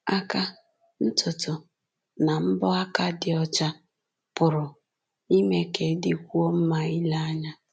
Aka, ntutu, na mbọ aka dị ọcha pụrụ ime ka ị dịkwuo mma ile anya.